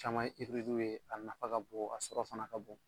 Caman ye w ye, a nafa ka bon a sɔrɔ fana ka bon.